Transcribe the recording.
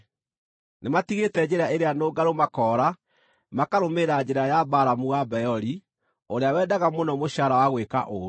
Nĩmatigĩte njĩra ĩrĩa nũngarũ makoora makarũmĩrĩra njĩra ya Balamu wa Beori, ũrĩa wendaga mũno mũcaara wa gwĩka ũũru.